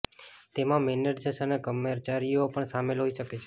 તેમાં મેનેજર્સ અને કર્મચારીઓ પણ શામેલ હોઈ શકે છે